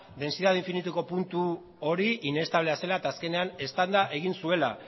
dentsidade infinituko puntu hori inestablea zela eta azkenean eztanda egin zuela